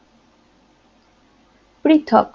পৃথক